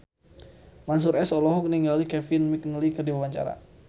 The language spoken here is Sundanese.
Mansyur S olohok ningali Kevin McNally keur diwawancara